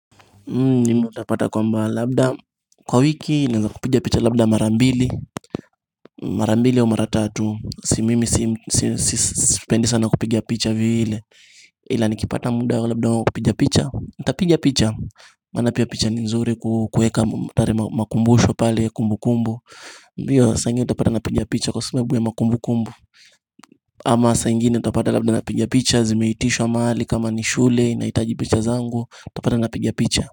Mimi utapata kwamba labda kwa wiki ninaweza kupiga picha labda mara mbili. Mara mbili au mara tatu. Si mimi si spendi sana kupiga picha vile. Ila nikipata muda labda wa kupiga picha nitapiga picha. Maana picha ni nzuri kuweka pale makumbusho pale kumbukumbu. Ndiyo saa ingine utapata napiga picha kwa sababu ya ma kumbukumbu. Ama saa ingine utapata labda napiga picha zimeiitishwa mahali kama ni shule nahitaji picha zangu. Utapata napiga picha.